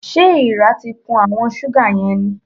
Ṣé èèrà ti kun àwọn ṣúgà yẹn ni?